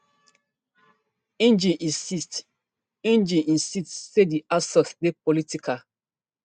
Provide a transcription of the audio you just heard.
ngg insist ngg insist say di assault dey political